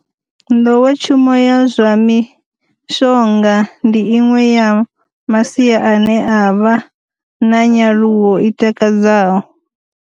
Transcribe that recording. Nḓowetshumo ya zwa mi shonga ndi iṅwe ya masia ane a vha na nyaluwo i takadzaho.